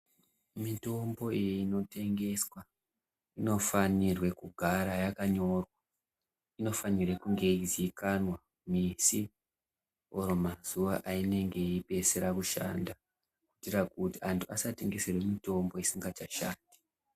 Mitombo inotengeswa inofane kugare yakanyorwa inofanire kunge yeizikanwa misi kana mazuwa ayinenge yeipedzisira kushanda kuitira kuti antu asatengeserwa mutombo isingachashandi.